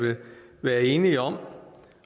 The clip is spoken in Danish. være enige om